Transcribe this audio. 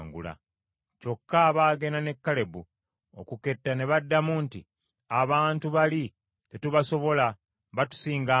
Kyokka abaagenda ne Kalebu okuketta ne baddamu nti, “Abantu bali tetubasobola, batusinga amaanyi.”